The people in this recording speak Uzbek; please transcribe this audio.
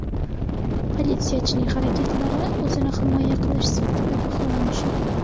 Politsiyachining harakatlari o‘zini himoya qilish sifatida baholanishi mumkin.